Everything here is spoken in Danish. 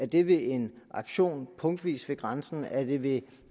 det ved en aktion punktvis ved grænsen er det ved